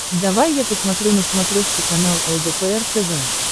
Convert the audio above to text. давай я посмотрю на смотрешке канал лдпр тв